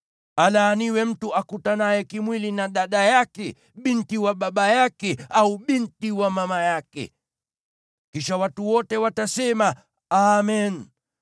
“Alaaniwe mtu akutanaye kimwili na dada yake, binti wa baba yake au binti wa mama yake.” Kisha watu wote watasema, “Amen!”